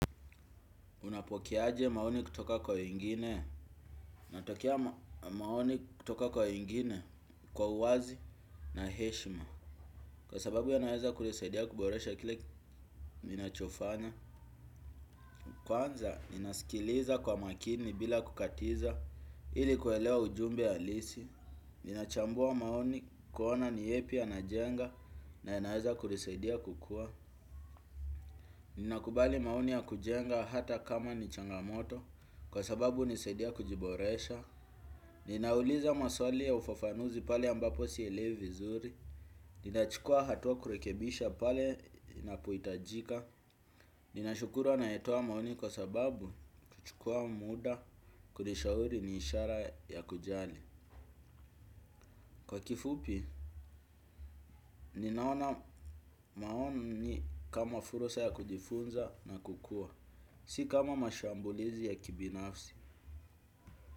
Unapokeaje maoni kutoka kwa wengine? Natokea maoni kutoka kwa wengine kwa uwazi na heshima. Kwa sababu yanaeza kunisaidia kuboresha kile ninachofanya. Kwanza, ninasikiliza kwa makini bila kukatiza ili kuelewa ujumbe halisi. Nina chambua maoni kuona ni yepi yanajenga na yanaeza kunisaidia kukuwa. Ninakubali maoni ya kujenga hata kama ni changamoto kwa sababu hunisaidia kujiboresha. Ninauliza maswali ya ufafanuzi pale ambapo si elewi vizuri, nina chukuwa hatuwa kurekebisha pale inapohitajika, nina shukura anayetowa maoni kwa sababu kuchukuwa muda kunishauri ni ishara ya kujali. Kwa kifupi, ninaona maoni kama fursa ya kujifunza na kukuwa, si kama mashambulizi ya kibinafsi.